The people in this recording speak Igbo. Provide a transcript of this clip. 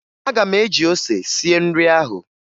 Aga m eji ose sie nri ahụ